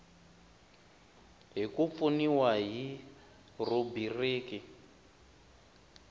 hi ku pfuniwa hi rhubiriki